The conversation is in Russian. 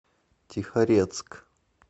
тихорецк